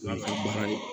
An ka baara in